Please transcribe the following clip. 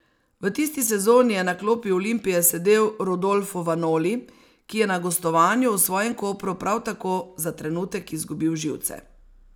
V tisti sezoni je na klopi Olimpije sedel Rodolfo Vanoli, ki je na gostovanju v svojem Kopru prav tako za trenutek izgubil živce.